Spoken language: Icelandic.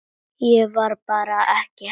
Það var bara ekki hægt.